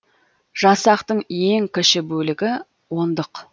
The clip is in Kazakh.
жасақтың ең кіші бөлігі ондық